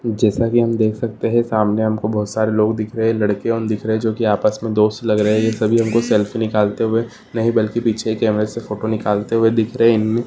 जैसा कि हम देख सकते हैं सामने हमको बहुत सारे लोग दिख रहे हैं लड़के और दिख रहे हैं जो कि आपस में दोस्त लग रहे हैं यह सभी हमको सेल्फी निकलते हुए नहीं बल्कि पीछे कैमरे से फोटो निकालते हुए दिख रहे। उम--